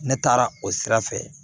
Ne taara o sira fɛ